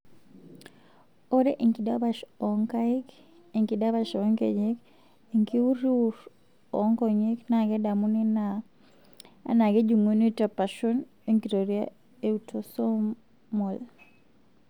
Ore enkidapash oonkaik enkidapash oonkejek enkiuriwur oonkonyek naa kedamuni anaa kejung'uni tepashon enkitoria eautosomal.